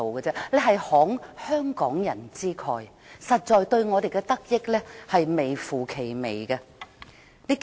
這是慷香港人之慨，香港人的得益微乎其微。